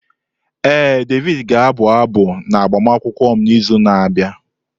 Ee, Davidi ga-abụ abụ n'agbamakwụkwọ m n'izu na-abịa.